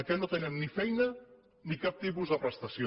que no tenen ni feina ni cap tipus de prestació